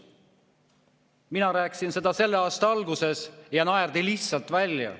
Mina rääkisin seda selle aasta alguses ja siis naerdi mind lihtsalt välja.